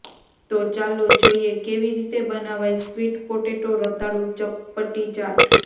તો ચાલો જોઇએ કેવી રીતે બનાવાય સ્વીટ પોટેટો રતાળુ ચપપટી ચાટ